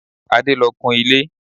Adé lọ kun ilé.